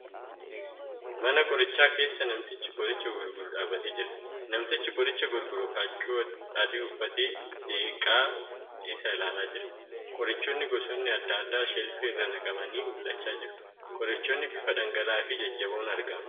Mana qorichaa keessa namtichi qoricha gurguru dhaabbatee jira. Namtichi qoricha gurguru huccuu adii uffatee seeqaa as ilaalaa jira. Qorichoonnii gosoonni adda addaa sheelfii irra naqamanii mul'achaa jiru. Qorichoonni bifa dhangala'aa fi jajjaboon argama.